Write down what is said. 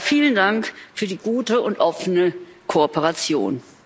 Vielen Dank für die gute und offene Kooperation!